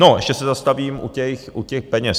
No, ještě se zastavím u těch peněz.